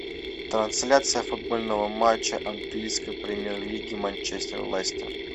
трансляция футбольного матча английской премьер лиги манчестер лестер